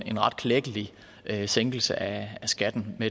en ret klækkelig sænkelse af skatten